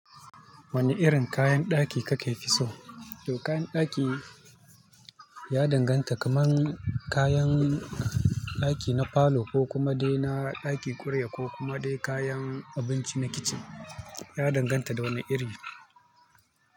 Wane irin kayan ɗaki kakefi so? To kayan ɗaki ya danganta kamar kayan ɗaki na falo ko kuma dai na ɗaki ƙuriya ko kuma dai kayan abinci na kitchen. Ya danganta da wani iri.